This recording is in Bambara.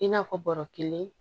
I n'a fɔ bɔrɔ kelen